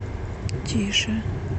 тише